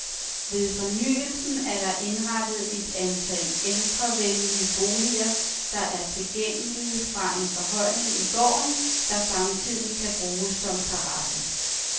Ved fornyelsen er der indrettet et antal ældrevenlige boliger, der er tilgængelige fra en forhøjning i gården, der samtidig kan bruges som terrasse.